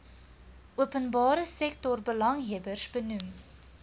openbare sektorbelanghebbers benoem